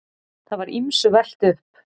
Það var ýmsu velt upp.